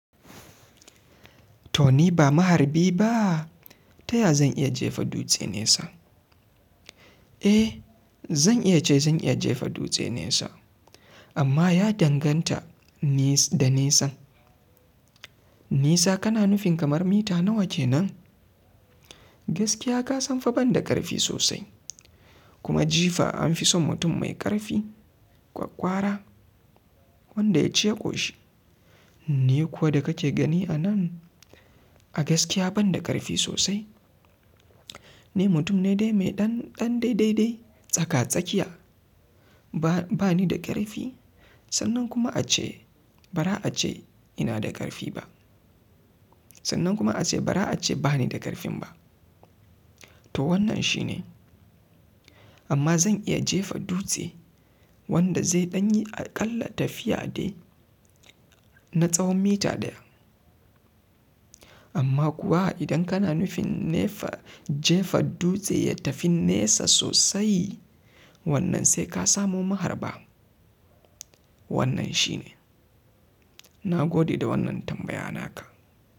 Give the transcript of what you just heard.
To ni ba maharbi ba, taya zan iya jefa dutse nesa. Eh zan iya ce zan iya jefa dutse nesa amma ya danganta da nesa. Nesa kana nufin kamar mita nawa kenan? Gaskiya ka san fa ban da ƙarfi sosai kuma jifa an fi son mutum mai ƙarfi, ƙwaƙƙwara wanda ya ci ya ƙoshi. Ni kuwa da kake gani anan a gaskiya ban da ƙarfi sosai. Ni mutum ne dai mai ɗan daidai tsaka-tsakiya ba ni da ƙarfi sannan kuma a ce bara ace ina da ƙarfi ba. Sannan kuma a ce bara ace ba ni da ƙarfin ba. To wannan shi ne amma zan iya jefa dutse wanda zai ɗanyi aƙalla tafiya dai na tsawon mita ɗaya. Amma kuwa idan kana nufin jefa dutse ya tafi nesa sosai wannan sai ka samo maharba. Wannan shi ne. Na gode da wannan tambaya naka.